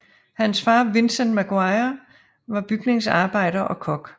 Hans far Vincent Maguire var bygningsarbejder og kok